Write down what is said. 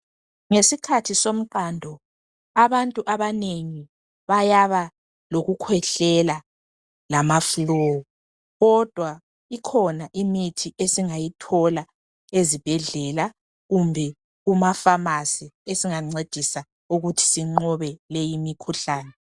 Ngesikhathi somqando abantu abanengi bayabalokukhwehlela ma (flue) . Kodwa ikhona imithi esingayithola ezibhedlela kumbe kumafamasi esingancedisa ukuthi sinqobe leyimikhuhlane.